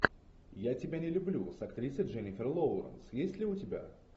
я тебя не люблю с актрисой дженнифер лоуренс есть ли у тебя